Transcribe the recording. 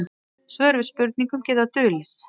Svör við spurningum geta dulið.